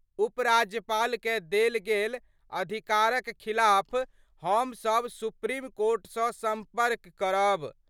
उपराज्यपाल कए देल गेल अधिकार क खिलाफ हम सब सुप्रीम कोर्ट स संपर्क करब।